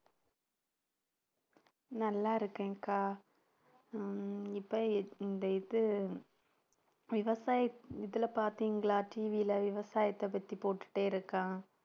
நல்லா இருக்கேன்க்கா ஆஹ் இப்ப இந்த இது விவசாய இதில பாத்தீங்களா TV ல விவசாயத்தைப் பத்தி போட்டுட்டே இருக்கான்